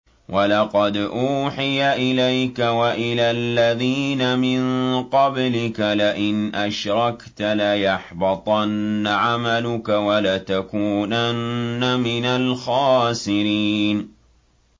وَلَقَدْ أُوحِيَ إِلَيْكَ وَإِلَى الَّذِينَ مِن قَبْلِكَ لَئِنْ أَشْرَكْتَ لَيَحْبَطَنَّ عَمَلُكَ وَلَتَكُونَنَّ مِنَ الْخَاسِرِينَ